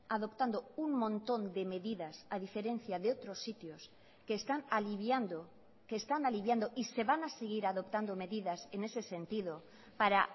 adoptando un montón de medidas a diferencia de otros sitios que están aliviando que están aliviando y se van a seguir adoptando medidas en ese sentido para